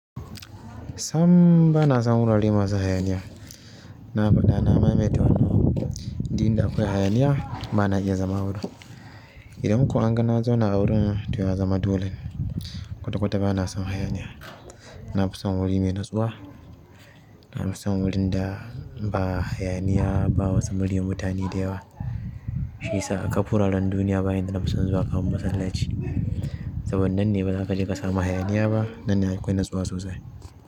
Sam bana son wuraren masu hayaniya. Na faɗa na maimaita, duk in da akwai hayaniya ba na iya zama a wurin. Idan kuma an ga na zona a wurin, to ya zama dole kwata-kwata bana son hayaniya. Na fi son wuri mai natsuwa, na fi son wurin da ba hayaniya, ba wata muryan mutane da yawa. Shiyasa akab wuraren duniya ba in da na fi son zuwa kaman masallaci. Saboda nan ne ba za ka je ka samu hayaniya ba, nan ne akwai natsuwa sosai.